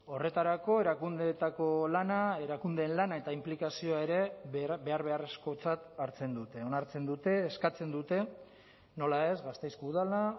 horretarako erakundeetako lana erakundeen lana eta inplikazioa ere behar beharrezkotzat hartzen dute onartzen dute eskatzen dute nola ez gasteizko udala